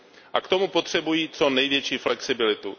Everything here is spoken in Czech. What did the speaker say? A k tomu potřebují co největší flexibilitu.